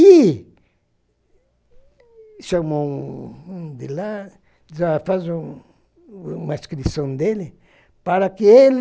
E chamou um um de lá, já faz um uma inscrição dele, para que ele